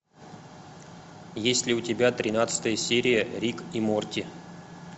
есть ли у тебя тринадцатая серия рик и морти